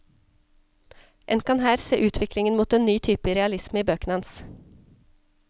En kan her se utviklingen mot en ny type realisme i bøkene hans.